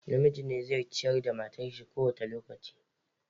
Namiji ne zai ciyar da matar shi kowane lokaci.